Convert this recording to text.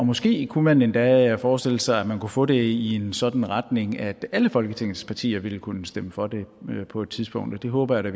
måske kunne man endda forestille sig at man kunne få det i en sådan retning at alle folketingets partier ville kunne stemme for det på et tidspunkt og det håber jeg da